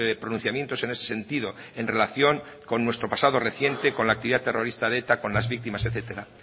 pronunciamientos en ese sentido en relación con nuestro pasado reciente con la actividad terrorista de eta con las víctimas etcétera